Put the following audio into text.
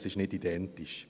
Das ist nicht identisch.